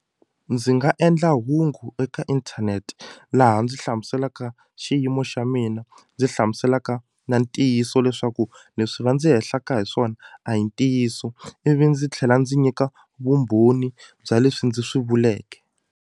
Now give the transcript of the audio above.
Ndzi nga endla hungu eka inthanete laha ndzi hlamuselaka xiyimo xa mina ndzi hlamuselaka na ntiyiso leswaku leswi va ndzi hehliwaka hi swona a hi ntiyiso ivi ndzi tlhela ndzi nyika vumbhoni bya leswi ndzi swi vuleke.